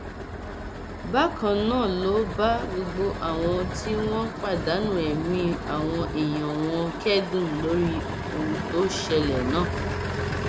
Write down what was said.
bákan náà ló bá gbogbo àwọn tí wọn pàdánù ẹmí àwọn èèyàn wọn kẹdùn lórí ohun tó ṣẹlẹ náà